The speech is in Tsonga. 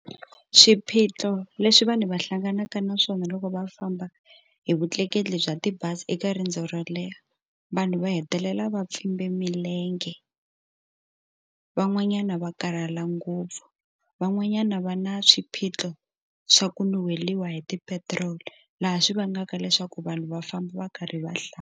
Swiphiqo leswi vanhu va hlanganaka na swona loko va famba hi vutleketli bya tibazi eka riendzo ro leha vanhu va hetelela va pfumbe milenge van'wanyana va karhala ngopfu van'wanyana va na swiphiqo swa ku ni weriwa hi tipetiroli laha swi vangaka leswaku vanhu va famba va karhi va hlaya.